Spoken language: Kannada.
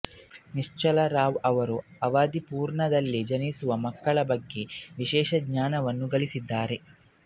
ನಿಶ್ಚಲರಾವ್ ರವರು ಅವಧಿ ಪೂರ್ವದಲ್ಲೇ ಜಿನಿಸುವ ಮಕ್ಕಳ ಬಗ್ಗೆ ವಿಶೇಷ ಜ್ಞಾನವನ್ನು ಗಳಿಸಿದ್ದಾರೆ